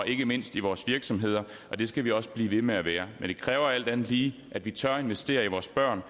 ikke mindst i vores virksomheder det skal vi også blive ved med at være men det kræver alt andet lige at vi tør investere i vores børn